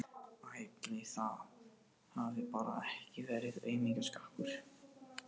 Ætli það hafi bara ekki verið aumingjaskapur.